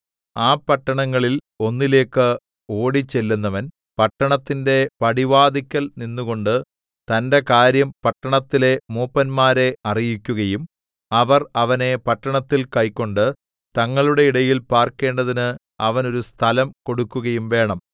ആ പട്ടണങ്ങളിൽ ഒന്നിലേക്ക് ഓടിച്ചെല്ലുന്നവൻ പട്ടണത്തിന്റെ പടിവാതില്ക്കൽ നിന്നുകൊണ്ട് തന്റെ കാര്യം പട്ടണത്തിലെ മൂപ്പന്മാരെ അറിയിക്കുകയും അവർ അവനെ പട്ടണത്തിൽ കൈക്കൊണ്ട് തങ്ങളുടെ ഇടയിൽ പാർക്കേണ്ടതിന് അവന് ഒരു സ്ഥലം കൊടുക്കുകയും വേണം